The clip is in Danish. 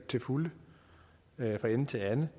til fulde fra ende til anden